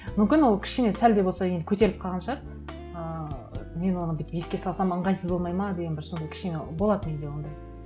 мүмкін ол кішкене сәл де болса енді көтеріліп қалған шығар ыыы мен оны бүйтіп еске салсам ыңғайсыз болмайды ма деген бір сондай бір кішкене болады менде ондай